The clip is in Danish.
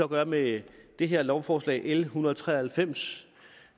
gør med det her lovforslag l en hundrede og tre og halvfems